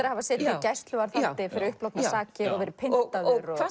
að hafa setið í gæsluvarðhaldi fyrir upplognar sakir og verið pyntaður hvað